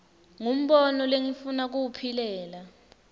ngumbono lengifuna kuwuphilela